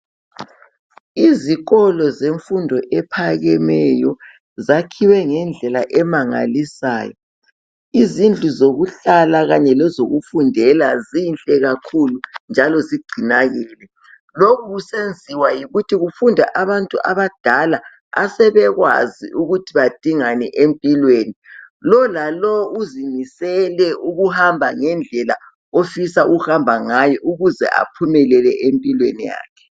Izikolo zemfundo ephakemeyo zakhiwe ngendlela emangalisayo. Izindlu zokuhlala kanye lezokufundela zinhle kakhulu njalo zigcinakele, lokhu kusenziwa yikuthi kufunda abantu abadala asebekwazi ukuthi badingani empilweni. Lo lalo uzimisele ukuhamba ngendlela ofisa ukuhamba ngayo ukuze aphumelele empilweni yakhe.